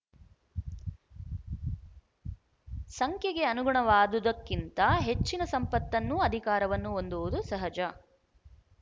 ಸಂಖ್ಯೆಗೆ ಅನುಗುಣವಾದುದಕ್ಕಿಂತ ಹೆಚ್ಚಿನ ಸಂಪತ್ತನ್ನೂ ಅಧಿಕಾರವನ್ನು ಹೊಂದುವುದು ಸಹಜ